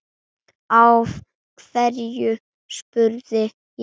Af hverju? spurði ég.